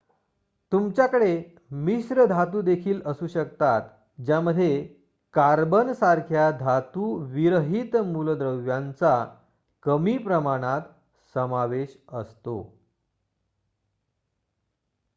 तुमच्याकडे मिश्र धातु देखील असू शकतात ज्यामध्ये कार्बन सारख्या धातू विरहित मूलद्रव्यांचा कमी प्रमाणात समावेश असतो